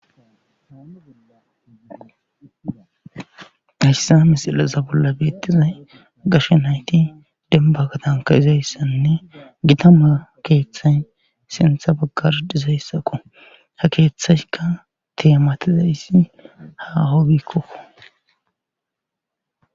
Hayssa misilasa bolla beettiza gashe nayti denbagatanka izayssanne gita ma keeththay sintha baggar dizayssaqo ha keeththaska teematiza issi ha hobikkokko.